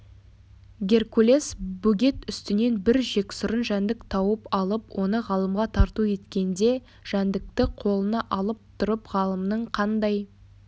геркулес бөгет үстінен бір жексұрын жәндік тауып алып оны ғалымға тарту еткенде жәндікті қолына алып тұрып ғалымның қандай